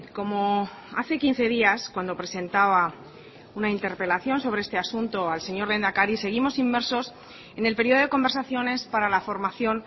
como hace quince días cuando presentaba una interpelación sobre este asunto al señor lehendakari seguimos inmersos en el periodo de conversaciones para la formación